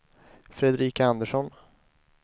Fredrika Andersson